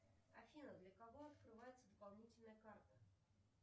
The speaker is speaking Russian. афина для кого открывается дополнительная карта